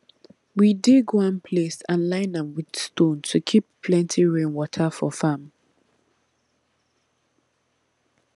we dig one place and line am with stone to keep plenty rainwater for farm